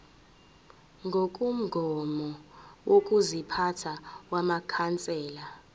ngokomgomo wokuziphatha wamakhansela